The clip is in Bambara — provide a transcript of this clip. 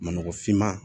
Ma nɔgɔ finma